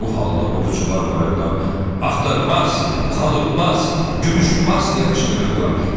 Bu halda ovçular bayırdan "Axtar bas! Xalı bas! Gümüş bas!" deyə qışqırırdılar.